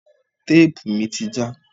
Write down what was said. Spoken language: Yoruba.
Téèpù mi ti já.